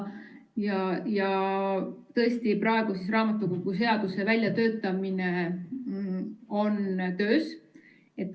Ja tõesti töötame praegu välja raamatukogu seadust.